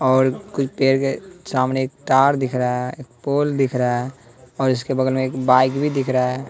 और कुछ पेड़ के सामने एक तार दिख रहा है पोल दिख रहा है और इसके बगल में एक बाइक भी दिख रहा है।